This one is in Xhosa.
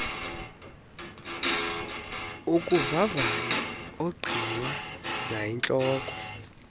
ukuvavanya ongqinwa nayintloko